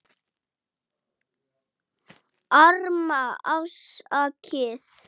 Arma: Afsakið